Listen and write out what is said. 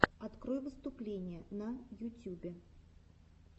открой выступления на ютюбе